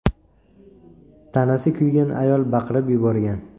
Tanasi kuygan ayol baqirib yuborgan.